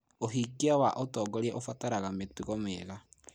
ũhingia wa ũtongoria ũbataraga mĩtugo mĩega.